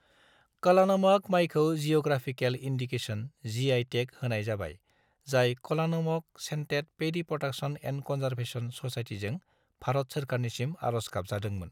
कलानमक मायखौ geographical indication - GI. Tag होनाय जाबाय जाय कलानमक सेन्टेत पेदी प्रदाक्सन एण्ड कनजारभेसन ससायटीजों भारत सोरखारनिसिम आर'ज गाबजादोंमोन।